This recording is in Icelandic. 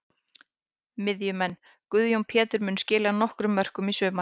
Miðjumenn: Guðjón Pétur mun skila nokkrum mörkum í sumar.